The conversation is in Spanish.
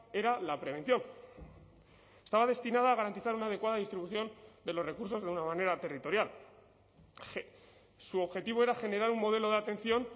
era la prevención estaba destinada a garantizar una adecuada distribución de los recursos de una manera territorial su objetivo era generar un modelo de atención